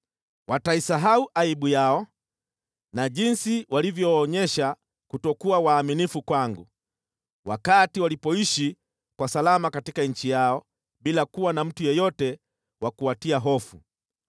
Wataisahau aibu yao na jinsi walivyoonyesha kutokuwa waaminifu kwangu mimi wakati waliishi salama katika nchi yao, bila kuwa na mtu yeyote wa kuwatia hofu.